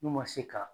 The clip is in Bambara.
N'u ma se ka